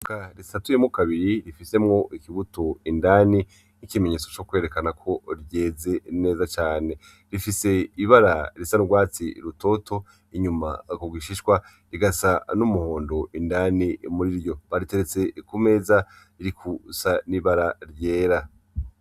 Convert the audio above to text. Ivoka risatuyemwo kabiri rifisemwo ikibuto indani, nk'ikimenyetso co kwerekana ko ryeze neza cane. Rifise ibara risa n'urwatsi rutoto inyuma ku gishishwa, rigasa n'umuhondo indani muri ryo. Bariteretse ku meza ririkusa n’ibara ryera.